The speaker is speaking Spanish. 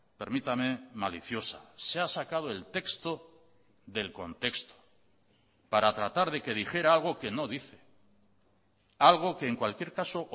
permítame maliciosa se ha sacado el texto del contexto para tratar de que dijera algo que no dice algo que en cualquier caso